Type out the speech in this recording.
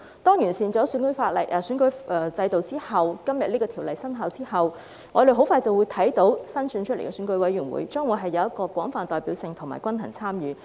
當《2021年完善選舉制度條例草案》生效後，我們很快便會看到新選出來的選委會將會有廣泛代表性和均衡參與。